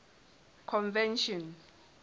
convention